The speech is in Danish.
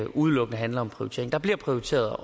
udelukkende handler om prioritering der bliver prioriteret